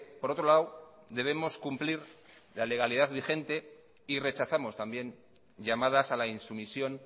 por otro lado debemos cumplir la legalidad vigente y rechazamos también llamadas a la insumisión